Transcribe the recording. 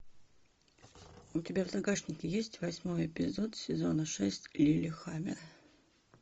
у тебя в загашнике есть восьмой эпизод сезона шесть лиллехаммер